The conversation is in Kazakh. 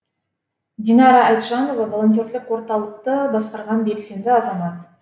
динара айтжанова волонтерлік орталықты басқарған белсенді азамат